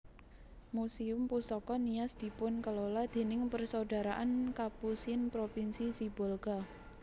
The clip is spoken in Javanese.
Muséum Pusaka Nias dipunkelola déning Persaudaraan Kapusin Propinsi Sibolga